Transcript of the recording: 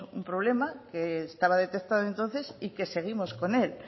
un problema que estaba detectado entonces y que seguimos con él